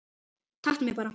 Taktu mig bara